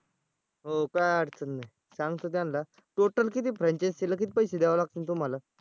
हो काय अडचण नाही सांगतो त्यांला total किती franchise ला किती पैसे द्यावे लागतील तुम्हाला?